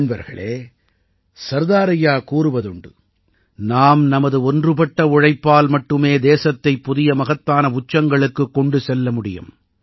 நண்பர்களே சர்தார் ஐயா கூறுவதுண்டு நாம் நமது ஒன்றுபட்ட உழைப்பால் மட்டுமே தேசத்தைப் புதிய மகத்தான உச்சங்களுக்குக் கொண்டு செல்ல முடியும்